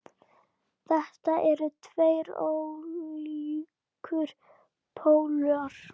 Þetta eru tveir ólíkir pólar.